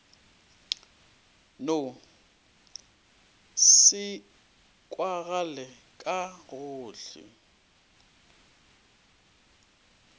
no se kwagale ka gohle